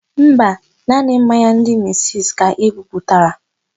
Mba, naanị mmanya ndị misisi ka e buputara.